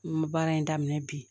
N bɛ baara in daminɛ bi